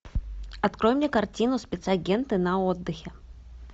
открой мне картину спецагенты на отдыхе